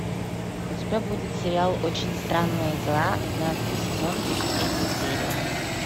у тебя будет сериал очень странные дела двенадцатый сезон тридцать третья серия